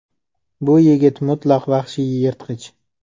Bu yigit mutlaq vahshiy yirtqich.